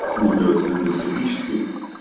осматривать эндоскопически